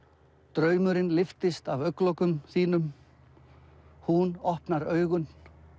draumurinn lyftist af augnlokum þínum hún opnar augun